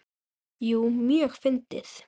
Jú, mjög fyndið.